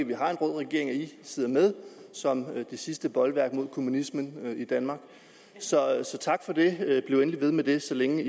vi har en rød regering at det radikale sidder med som det sidste bolværk mod kommunismen i danmark så tak for det bliv endelig ved med det så længe